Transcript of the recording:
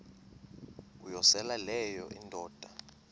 uyosele leyo indoda